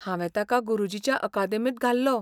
हांवें ताका गुरुजीच्या अकादेमींत घाल्लो.